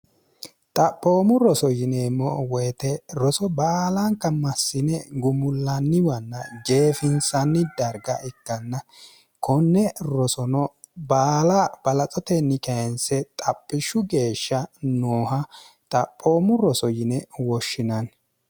xaphoomu roso yineemmo woyite roso baalankammassine gumullaanniwanna jeefinsanni darga ikkanna konne rosono baala balaxotenni keense xaphishshu geeshsha nooha xaphoomu roso yine woshshinanni